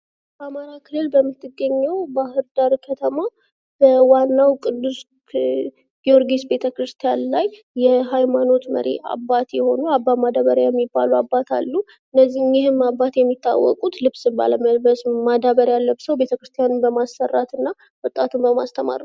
በአማራ ክልል በምትገኘው ባህርዳር ከተማ በዋናው ቅዱስ ጊዮርጊስ ቤተ ክርስቲያን ላይ የሀይማኖት መሪ አባት የሆኑ አባ ማዳበሪያ የሚባሉ አባት አሉ። እኒህም አባት የሚታወቁት ልብስ ባለመልስ ማዳበሪያን ለብሰው ቤተክርስቲያን በማሠራት እና ወጣቱን በማስተማር ነው።